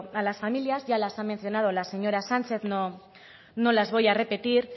a las familias ya las ha mencionado la señora sánchez no las voy a repetir